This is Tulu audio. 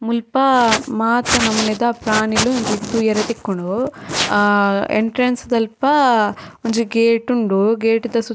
ಮುಲ್ಪ ಮಾತ ನಮುನಿದ ಪ್ರಾಣಿಲ್ ತೂವರೆ ತಿಕ್ಕುಂಡು ಎಂಟ್ರೆನ್ಸ್ ದಲ್ಪ ಒಂಜಿ ಗೇಟ್ ಉಂಡು ಗೇಟ್ ದ ಸುತ್ತ--